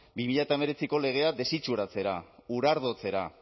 bi mila hemeretziko legea desitxuratzera urardotzera